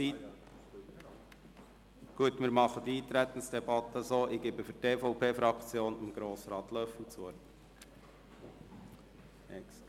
Ich erteile für die Eintretensdebatte dem Fraktionssprecher der EVP, Grossrat Löffel, das Wort.